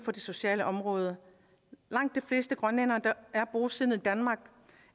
sociale område langt de fleste grønlændere der er bosiddende i danmark